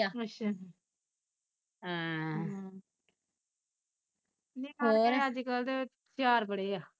ਅੱਛਾ ਆਹ ਹਮ ਨਿਆਣੇ ਅੱਜ ਕੱਲ ਦੇ ਹੁਸ਼ਿਆਰ ਬੜੇ ਆ